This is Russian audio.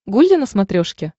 гулли на смотрешке